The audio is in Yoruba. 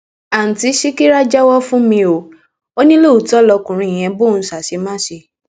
àtúntí ṣíkírà jẹwọ fún mi ò ní lóòótọ lọkùnrin yẹn bóun ṣe àṣemáṣe